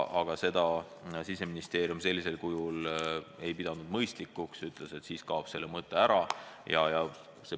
Aga seda Siseministeerium ei pidanud mõistlikuks – siis kaob asja mõte ära.